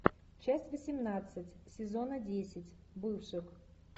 часть восемнадцать сезона десять бывших